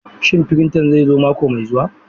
Shin printer zai zo mako mai zuwa?